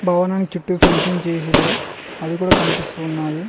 భవనానికి చుట్టూ ఫెన్చింగ్ చేసిల్లు అది కూడ కనిపిస్తూ ఉన్నాది.